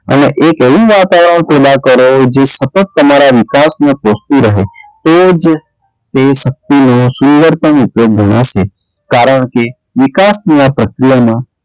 અને એક એવું વાતાવરણ પેદા કરો જે સતત તમારાં વિકાસ ને કોસતું રહે તે જ તે શક્તિને પણ ઉપયોગ ઘણાં છે કારણ કે, વિકાસ ની આ પ્રક્રિયામાં,